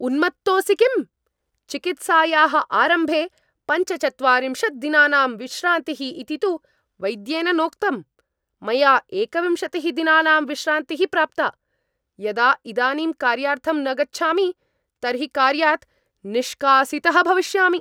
उन्मत्तोसि किम्? चिकित्सायाः आरम्भे पञ्चचत्वारिंशत् दिनानां विश्रान्तिः इति तु वैद्येन नोक्तम्, मया एकविंशतिः दिनानां विश्रान्तिः प्राप्ता, यदा इदानीं कार्यार्थं न गच्छामि तर्हि कार्यात् निष्कासितः भविष्यामि।